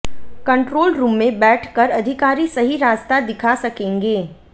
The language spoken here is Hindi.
कंट्रोल रूम में बैठ कर अधिकारी सही रास्ता दिखा सकेंगे